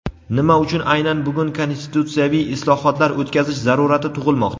Nima uchun aynan bugun konstitutsiyaviy islohotlar o‘tkazish zarurati tug‘ilmoqda?.